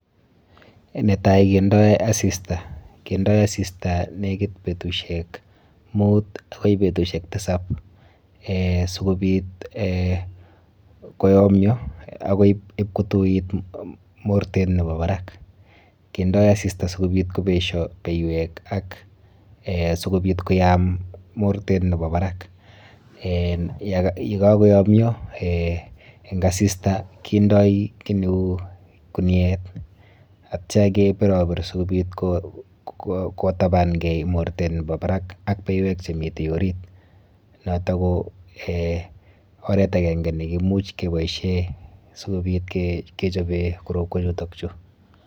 Netai kendoi asista. Kendoi asista nekit betusiek mut akoi betusiek tisab eh sikobit eh koyomio akoi ipkotuit mortet nepo barak. Kendoi asista sikobit kobesho beiwek ak eh sikobit koyam mortet nepo barak eh yekakoyomio eng asista kendoi kiy neu kuniet atyo kepiropir sikobit kotabankei mortet nepo barak ak beiwek chemite orit. Noto ko eh oret akenke nekimuch keboishe sikobit kechope korotwechuto.